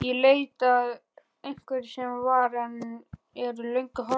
Í leit að einhverju sem var, en er löngu horfið.